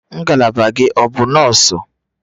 Ngalaba gị ọ bụ nọọsụ?